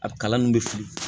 A kalan nun bɛ fili